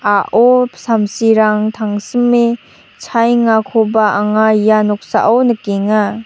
a·o samsirang tangsime chaengakoba anga ia noksao nikenga.